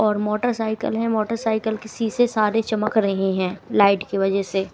और मोटरसाइकल है मोटरसाइकल शीशे सारे चमक रहे हैं लाइट की वजह से।